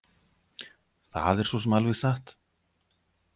Það er svo sem alveg satt